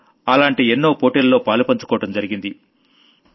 మనం అలాంటి ఎన్నో టోర్నమెంట్లలో పాలుపంచుకోవడం జరిగింది